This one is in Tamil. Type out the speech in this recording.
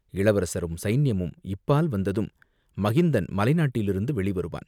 இளவரசரும், சைனியமும் இப்பால் வந்ததும், மகிந்தன் மலை நாட்டிலிருந்து வெளி வருவான்.